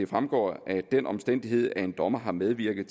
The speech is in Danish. fremgår at den omstændighed at en dommer har medvirket